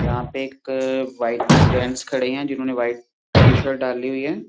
यहाँ पे एक अ वाइट जेंट्स खड़े हैं जिन्होंने वाइट टीशर्ट डाली हुई है।